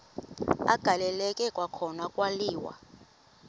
agaleleka kwakhona kwaliwa